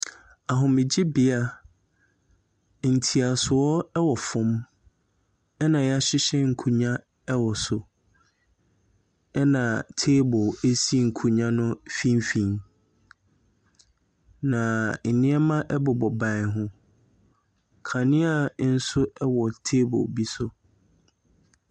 Ahomegyebea. Ntiasoɔ ɛwɔ fam ɛna yahyehyɛ nkonnwa ɛwɔ so, Ɛna table esi nkonwa no mfimfin na ɛnoɔma ɛbobɔ ban ho. Kanea bi nso ɛwɔ table bi so.